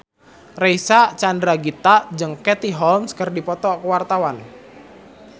Reysa Chandragitta jeung Katie Holmes keur dipoto ku wartawan